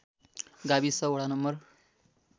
गाविस वडा नं